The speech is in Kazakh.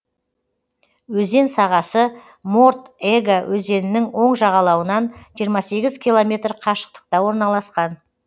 өзен сағасы морд ега өзенінің оң жағалауынан жиырма сегіз километр қашықтықта орналасқан